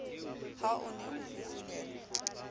ha o ne o fufulelwa